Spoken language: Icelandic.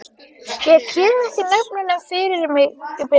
Ég kem ekki nöfnunum fyrir mig í bili.